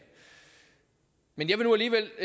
men jeg vil nu alligevel